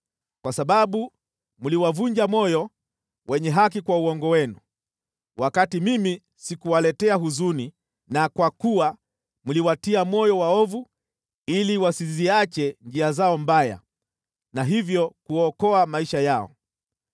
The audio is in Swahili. Kwa sababu mliwavunja moyo wenye haki kwa uongo wenu, wakati mimi sikuwaletea huzuni na kwa kuwa mliwatia moyo waovu ili wasiziache njia zao mbaya na hivyo kuokoa maisha yao,